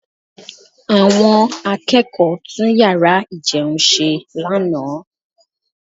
Àwọn akẹ́kọ̀ọ́ tún yàrá ìjẹun ṣe lánàá